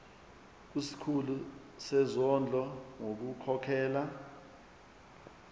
kusikhulu sezondlo ngokukhokhela